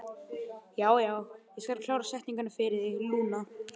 Já, já, ég skal klára setninguna fyrir þig, Lúna.